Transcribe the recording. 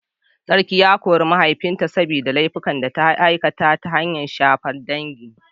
Sarki ya kori mahaifinta saboda laifukan da ya aikata, ta hanyar shafar dangi.